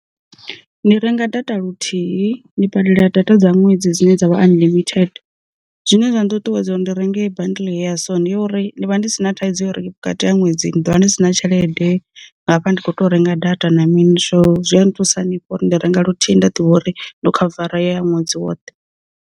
Ndi renga data luthihi, ndi badela data dza ṅwedzi dzine dza vha unlimited. Zwine zwa nṱuṱuwedza uri ndi renge bandli ya so ndi yo uri ndi vha ndi si na thaidzo ya uri vhukati ha ṅwedzi ni ḓovha ni sina tshelede, ngafha ndi kho tea renga data na mini so zwi a nthusa hanefho uri ndi renga luthihi nda ḓivha uri ndi khavara ya ṅwedzi woṱhe.